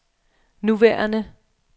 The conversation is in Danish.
nuværende